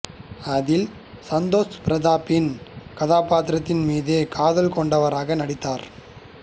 அதில் சந்தோஷ் பிரதாப்பின் கதாபாத்திரத்தின் மீது காதல் கொண்டவராக நடித்தார்